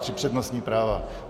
Tři přednostní práva.